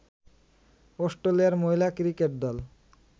অস্ট্রেলিয়ার মহিলা ক্রিকেট দল